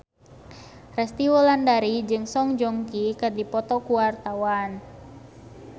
Resty Wulandari jeung Song Joong Ki keur dipoto ku wartawan